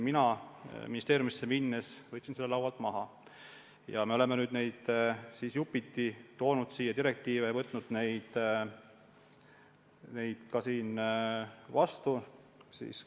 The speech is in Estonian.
Mina võtsin ministeeriumis tööle asununa selle laualt maha ja me oleme nüüd jupiti siia direktiive toonud ja neid siin ka vastu võtnud.